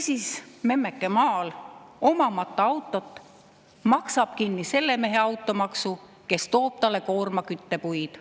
Ja memmeke maal, omamata autot, maksab kinni selle mehe automaksu, kes toob talle koorma küttepuid.